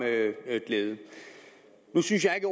glæde nu synes jeg ikke